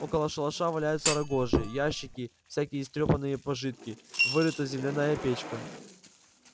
около шалаша валяются рогожи ящики всякие истрёпанные пожитки вырыта земляная печка